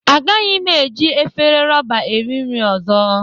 Agaghị m eji efere roba eri nri ọzọ